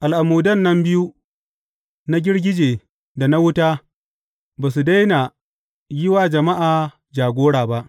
Al’amudan nan biyu, na girgije da na wuta, ba su daina yi wa jama’a jagora ba.